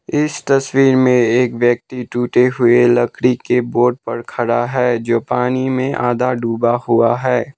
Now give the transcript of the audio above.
इस तस्वीर में एक व्यक्ति टूटे हुए लकड़ी के बोट पर खड़ा है जो पानी में आधा डूबा हुआ है।